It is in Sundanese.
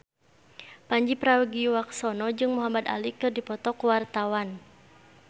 Pandji Pragiwaksono jeung Muhamad Ali keur dipoto ku wartawan